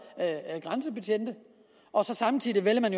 grænsebetjente og samtidig vælger man